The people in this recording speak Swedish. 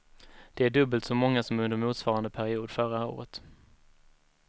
Det är dubbelt så många som under motsvarande period förra året.